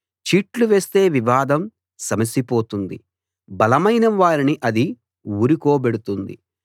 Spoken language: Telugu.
చీట్లు వేస్తే వివాదం సమసిపోతుంది బలమైన వారిని అది ఊరుకోబెడుతుంది